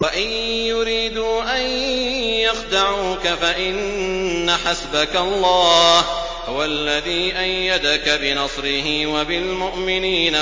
وَإِن يُرِيدُوا أَن يَخْدَعُوكَ فَإِنَّ حَسْبَكَ اللَّهُ ۚ هُوَ الَّذِي أَيَّدَكَ بِنَصْرِهِ وَبِالْمُؤْمِنِينَ